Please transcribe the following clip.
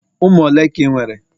ụmụ ole ka ị nwere?